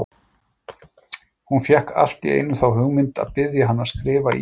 Hún fékk allt í einu þá hugmynd að biðja hann að skrifa í hana!